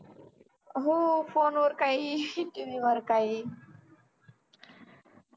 हो phone वर काही TV वर काही